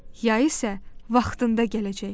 Yay isə vaxtında gələcək.